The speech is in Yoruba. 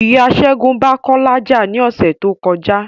Ìyá ṣẹgun ba Kọ́lá já ni ọsẹ tó kọjá